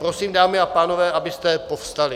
Prosím, dámy a pánové, abyste povstali.